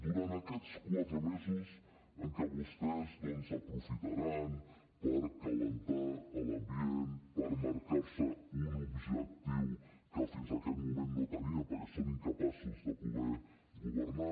durant aquests quatre mesos en què vostès doncs aprofitaran per escalfar l’ambient per marcar se un objectiu que fins aquest moment no tenien perquè són incapaços de poder governar